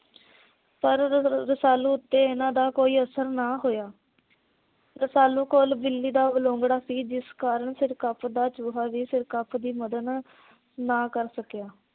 ਪਰ ਰਸਾਲੂ ਉਤੇ ਇਹ੍ਹਨਾਂ ਦਾ ਕੋਈ ਅਸਰ ਨਾ ਹੋਇਆ। ਰਸਾਲੂ ਕੋਲ ਬਿੱਲੀ ਦਾ ਬਲੂੰਗੜਾ ਸੀ। ਜਿਸ ਕਾਰਨ ਸਿਰਕਪ ਦਾ ਚੂਹਾ ਵੀ ਸਿਰਕਪ ਦੀ ਮੱਦਦ ਨਾ ਕਰ ਸਕਿਆ।